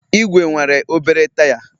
Ìgwè nwere obere taya